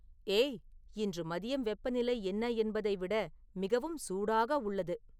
ஏய் இன்று மதியம் வெப்பநிலை என்ன என்பதை விட மிகவும் சூடாக உள்ளது